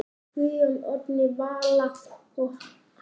Guðjón, Oddný Vala og Halla.